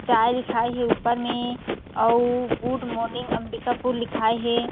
चाय दिखाई हे अउ गुड मॉर्निंग अंबिकापुर लिखा हे।